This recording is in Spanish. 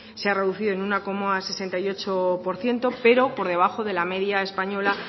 se ha reducido en uno coma sesenta y ocho por ciento pero por debajo de la media española